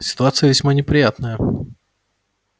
ситуация весьма неприятная